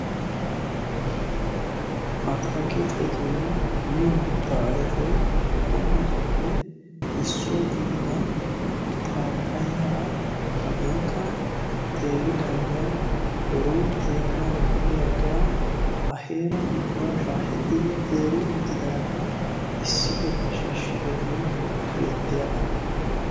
Atakkiltettunne miyo mittaa ayfee qommotuppe issuwa gidida pappaya hagankka teeridaagaa, biron teeranawu de'iyagaa a heeran ubba shaaheti uttidi teeri uttidaaga issi bolla shishshidoogee bettiyaagaa.